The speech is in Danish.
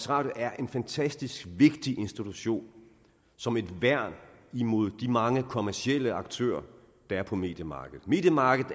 radio er en fantastisk vigtig institution som et værn imod de mange kommercielle aktører der er på mediemarkedet mediemarkedet